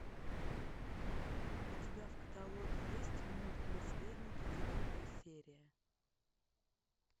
у тебя в каталоге есть мульт наследники девятая серия